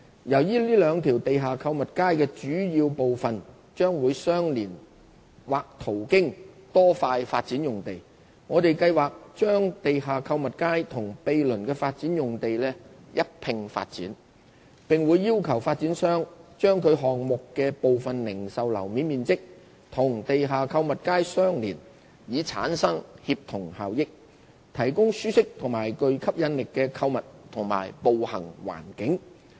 由於這兩條地下購物街的主要部分將會相連或途經多塊發展用地，我們計劃把地下購物街與毗鄰的發展用地一併發展，並會要求發展商把其項目的部分零售樓面面積與地下購物街相連，以產生協同效益，提供舒適及具吸引力的購物及步行環境。